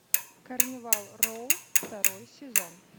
карнивал роу второй сезон